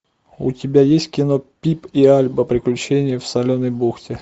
у тебя есть кино пип и альба приключения в соленой бухте